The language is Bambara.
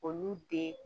Olu den